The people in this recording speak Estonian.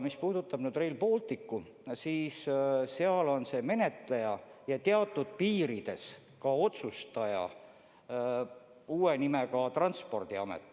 Mis puudutab Rail Balticut, siis minu teada on see menetleja ja teatud piirides ka otsustaja uue nimega asutus Transpordiamet.